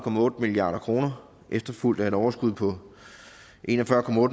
milliard kroner efterfulgt af et overskud på en og fyrre